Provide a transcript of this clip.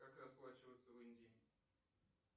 как расплачиваться в индии